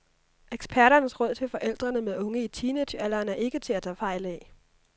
Eksperternes råd til forældre med unge i teenagealderen er ikke til at tage fejl af.